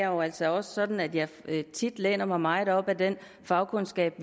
jo altså også sådan at jeg tit læner mig meget op ad fagkundskaben